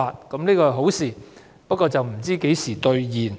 這是好消息，不過，何時兌現？